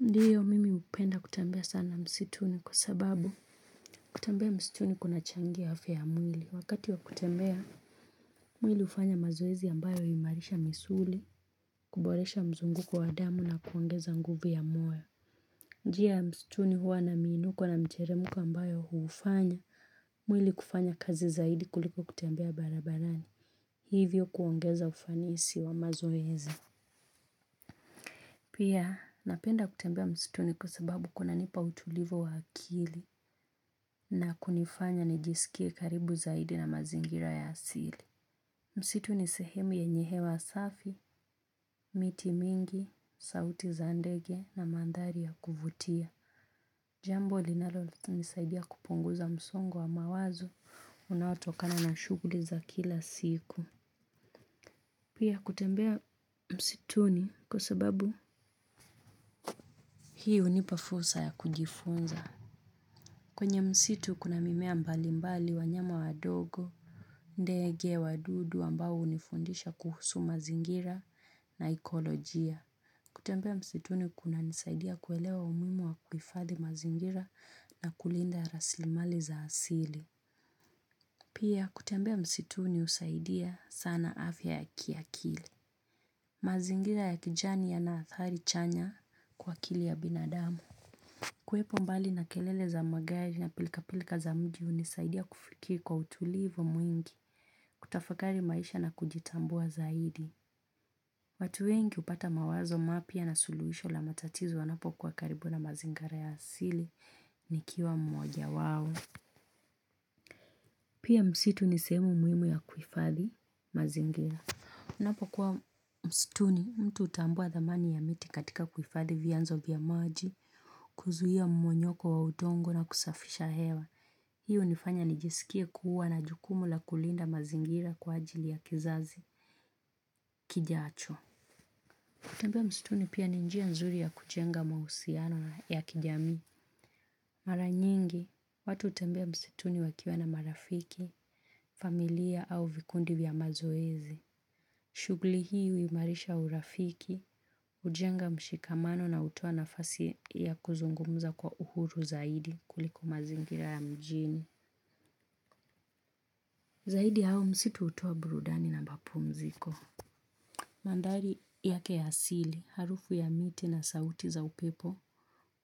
Mimi hupenda wakati wa kutembea, mwili hufanya mazoezi ambayo huimarisha misuli, kuboresha mzunguko wa adamu na kuongeza nguvu ya moyo njia ya msituni huwa na minu kwa na mcheremu kwa ambayo huufanya, mwili kufanya kazi zaidi kuliko kutambia barabarani. Hivyo kuongeza ufanisi wa mazoezi. Pia, napenda kutembea msituni kwa sababu kuna nipa utulivu wa akili. Na kunifanya nijisikie karibu zaidi na mazingira ya asili msitu ni sehemu yenye hewa safi. Miti mingi, sauti za ndege na mandhari ya kuvutia jambo linalo nisaidia kupunguza msongo wa mawazo unaotokana na shughuli za kila siku pia kutembea msituni kwa sababu hii hunipa fursa ya kujifunza. Kwenye msitu kuna mimea mbali mbali wanyama wa dogo. Ndege, wadudu ambao hunifundisha kuhusu mazingira na ekolojia. Kutembea msituni kuna nisaidia kuelewa umuhimu wa kuhifadhi mazingira na kulinda raslimali za asili. Pia kutembea msituni husaidia sana afya ya kiakili. Mazingira ya kijani yana athari chanya kwa akili ya binadamu. Kuwepo mbali na kelele za magari na pilka pilka za mji hunisaidia kufikiri kwa utulivu mwingi. Tafakari maisha na kujitambua zaidi. Watu wengi hupata mawazo mapya na suluhisho la matatizo wanapo kuwa karibu na mazingara ya asili nikiwa mmoja wao. Pia msitu ni sehemu muhimu ya kuhifadhi mazingira. Unapo kuwa msituni mtu hutambua dhamani ya miti katika kuhifadhi vianzo vya maji, kuzuia mmonyoko wa udongo na kusafisha hewa. Hii hunifanya nijisikie kuwa na jukumu la kulinda mazingira kwa ajili ya kizazi kijacho. Kutembea msituni pia ni njia nzuri ya kujenga mahusiano ya kijamii. Mara nyingi, watu hutembea msituni wakiwa na marafiki, familia au vikundi vya mazoezi. Shughli hii huimarisha urafiki, hujenga mshikamano na hutoa nafasi ya kuzungumza kwa uhuru zaidi kuliko mazingira ya mjini. Zaidi ya hayo msitu hutoa burudani na mapumziko. Mandhari yake ya asili harufu ya miti na sauti za upepo,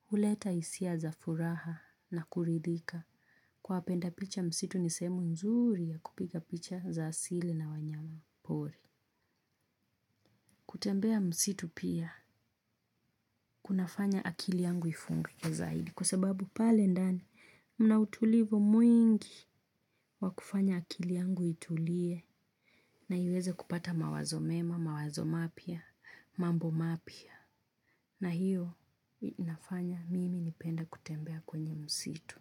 huleta hisia za furaha na kuridhika kwa wapenda picha msitu ni sehemu nzuri ya kupiga picha za asili na wanyama wa pori. Kutembea msitu pia kunafanya akili yangu ifumbike zaidi kwa sababu pale ndani mna utulivu mwingi wa kufanya akili yangu itulie na iweze kupata mawazo mema, mawazo mapya, mambo mapya na hiyo inafanya mimi nipenda kutembea kwenye msitu.